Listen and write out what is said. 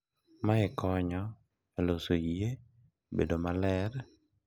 Mae konyo e loso yie, bedo maler,